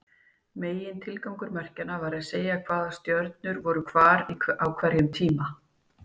Megintilgangur merkjanna var að segja hvaða stjörnur voru hvar á hverjum tíma.